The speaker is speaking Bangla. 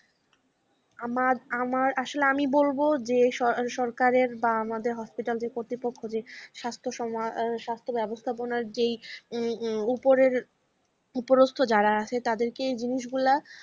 আমার, আমার আসলে আমি বলব যে সরকারের আমাদের hospital র কতৃপক্ষ দের স্বাস্থ্য সমা~ স্বাস্থ্য ব্যবস্থা যে উপরের উপরস্ত যারা আছে তাদেরকে এই জিনিসগুলা